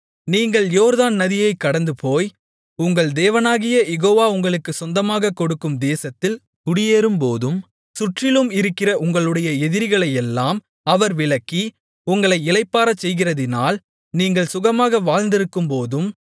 நீங்கள் யோர்தான் நதியைக் கடந்துபோய் உங்கள் தேவனாகிய யெகோவா உங்களுக்குச் சொந்தமாகக் கொடுக்கும் தேசத்தில் குடியேறும்போதும் சுற்றிலும் இருக்கிற உங்களுடைய எதிரிகளையெல்லாம் அவர் விலக்கி உங்களை இளைப்பாறச்செய்கிறதினால் நீங்கள் சுகமாக வாழ்ந்திருக்கும்போதும்